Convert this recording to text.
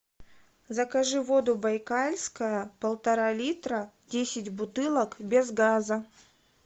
закажи воду байкальская полтора литра десять бутылок без газа